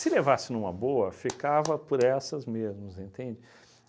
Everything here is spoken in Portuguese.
levasse numa boa, ficava por essas mesmas, entende?